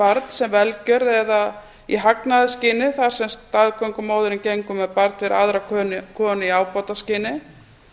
barn sem velgjörð eða í hagnaðarskyni þar sem staðgöngumóðirin gengur með barn fyrir aðra konu í ábataskyni